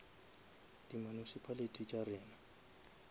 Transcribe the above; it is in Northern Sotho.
di municipality tša rena